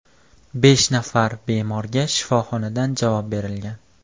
Besh nafar bemorga shifoxonadan javob berilgan.